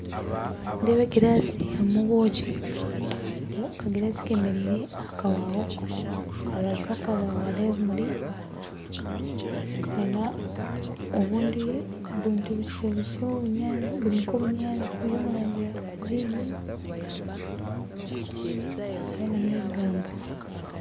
Nindeeba a glass harumu obwoki aka glass kemereire aha kabaho aharubaju rw'akabaho haruho ebimuri n'obundi buntu bukyebukye burinka obunyantsi buri omurangi ya green hariho n'ebigambo .